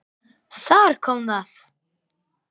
Þar kom það!